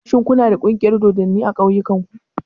Shin ku na da ƙungiyar dodanni a ƙauyen ku?